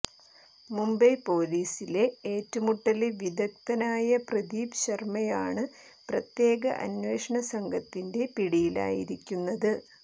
മുംബൈ പൊലീസിലെ ഏറ്റുമുട്ടല് വിദഗദ്ധനായ പ്രദീപ് ശര്മ്മയാണ് പ്രത്യേക അന്വേഷണ സംഘത്തിന്റെ പിടിയിലായിരിക്കുന്നത്